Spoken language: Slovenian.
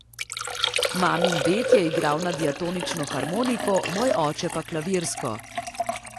Mamin ded je igral na diatonično harmoniko, moj oče pa klavirsko.